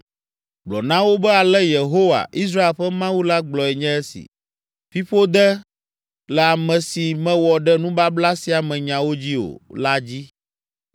Gblɔ na wo be ale Yehowa, Israel ƒe Mawu la gblɔe nye esi: ‘Fiƒode le ame si mewɔ ɖe nubabla sia me nyawo dzi o la dzi.